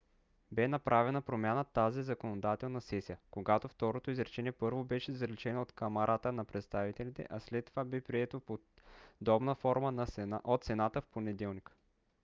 бе направена промяна в тази законодателна сесия когато второто изречение първо беше заличено от камарата на представителите а след това бе прието в подобна форма от сената в понеделник